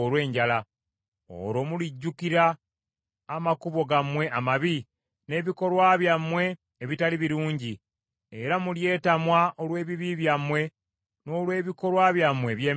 Olwo mulijjukira amakubo gammwe amabi n’ebikolwa byammwe ebitali birungi, era mulyetamwa olw’ebibi byammwe n’olw’ebikolwa byammwe eby’emizizo.